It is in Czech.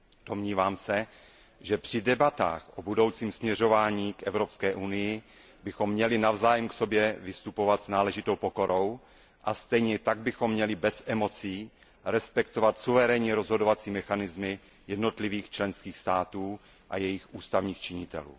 Domnívám se, že při debatách o budoucím směřování Evropské unie bychom měli k sobě navzájem vystupovat s náležitou pokorou a stejně tak bychom měli bez emocí respektovat suverénní rozhodovací mechanismy jednotlivých členských států a jejich ústavních činitelů.